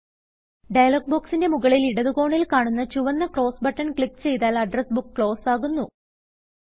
dialogue ബൊക്സിന്റെ മുകളിൽ ഇടത് കോണിൽ കാണുന്ന ചുവന്ന ക്രോസ് ബട്ടൺ ക്ലിക്ക് ചെയ്താൽ അഡ്രസ് ബുക്ക് ക്ലോസ് ആകുന്നു